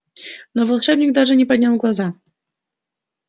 но волшебник даже не поднял глаза